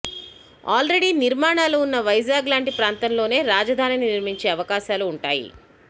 already నిర్మాణాలు ఉన్న వైజాగ్ లాంటి ప్రాంతంలోనే రాజధానిని నిర్మించే అవకాశాలు ఉంటాయి